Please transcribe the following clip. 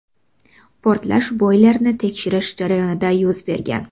Portlash boylerni tekshirish jarayonida yuz bergan.